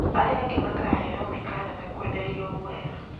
Arĩa angĩ makaheo mĩkana na kwenderio guoya